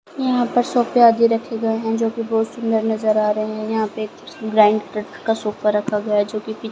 यहां पे सोफे आदि रखे गए हैं जो कि बहुत सुंदर नजर आ रहे हैं यहां पे एक ग्राइंड कट का सोफा रखा गया है जोकि पी--